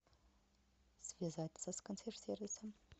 связаться с консьерж сервисом